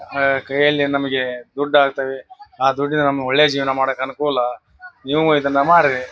ಆಹ್ಹ್ ಕೈಯಲ್ಲಿ ನಮಗೆ ದುಡ್ ಆಗ್ತಾವೆ. ಆ ದುಡ್ಡಿನಿಂದ ನಮಗೇ ಒಳ್ಳೆ ಜೀವನ ಮಾಡಾಕ್ ಅನುಕೂಲ ನೀವು ಇದನ್ನ ಮಾಡ್ರಿ.